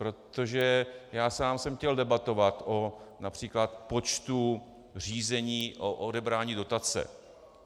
Protože já sám jsem chtěl debatovat o například počtu řízení o odebrání dotace.